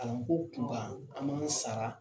Kalanko kunkan an man kan ka sara